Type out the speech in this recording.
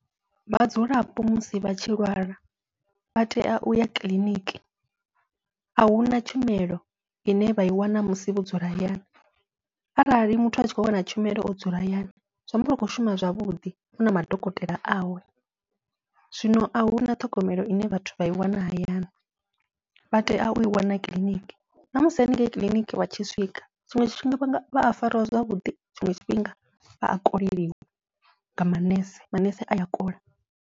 Vhadzulapo musi vha tshi lwala vha tea uya kiḽiniki, ahuna tshumelo ine vha i wana musi vho dzula hayani arali muthu atshi khou wana tshumelo o dzula hayani zwi amba vha khou shuma zwavhuḓi u na madokotela awe, zwino ahuna ṱhogomelo ine vhathu vha i wana hayani vha tea ui wana kiḽiniki, ṋamusi haningei kiḽiniki vha tshi swika tshiṅwe tshifhinga vha a farwa zwavhuḓi tshiṅwe tshifhinga vha ya koleliwa nga manese manese aya kola.